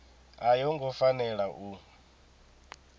a yo ngo fanela u